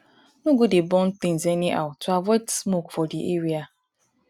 no go dey go dey burn things anyhow to avoid smoke for di area